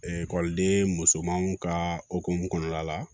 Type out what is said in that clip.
ekɔliden musomanw ka okumu kɔnɔna la